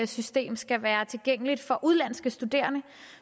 system skal være tilgængeligt for udenlandske studerende